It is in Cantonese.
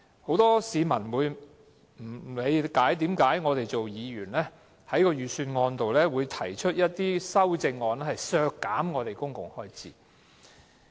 很多市民不理解，為何議員在財政預算案中，提出修正案削減公共開支。